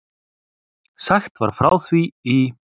Sagt var frá því í